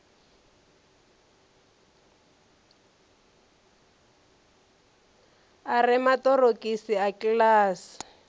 a re maṱorokisi a kiḽasi